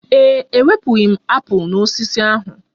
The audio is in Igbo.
Ee e, ewepụghi m apụl n'osisi ahụ